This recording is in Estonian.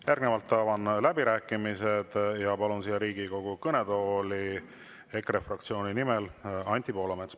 Järgnevalt avan läbirääkimised ja palun Riigikogu kõnetooli EKRE fraktsiooni nimel kõnelema Anti Poolametsa.